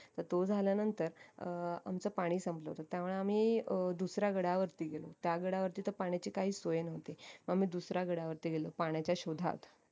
तर तो झाल्यानांतर अं आमचं पाणी संपल होत त्यामुळे आम्ही अं दुसऱ्या गडावरती गेलो तर त्या गडावरती तर पाण्याची काहीच सोय नव्हती आम्ही दुसऱ्या गडावरती गेलो पाण्याच्या शोधात